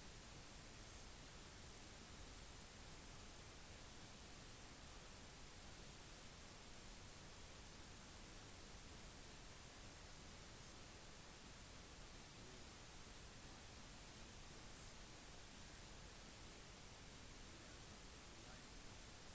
for gjennomgang i en allpartikomité før sitt andre vurdering etter tirsdagens 25 minutters møte med ndp-leder jack layton ved statsministerkontoret